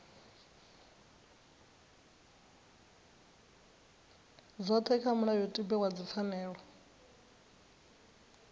dzothe kha mulayotibe wa dzipfanelo